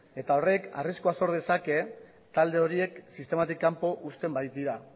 eta horrek arriskuak sor dezake talde horiek sistematik kanpo uzten baitira